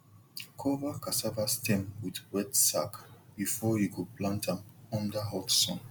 cover cassava stem with wet sack before you go plant am under hot sun